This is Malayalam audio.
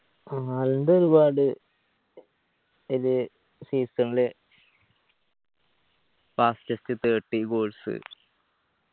ഹാലൻഡ് ഒരുപാട് ഇത് season ല് fastest thirty goals